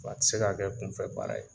W'a ti se ka kɛ kunfɛbaara ye.